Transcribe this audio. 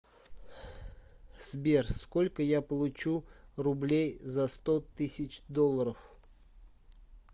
сбер сколько я получу рублей за сто тысяч долларов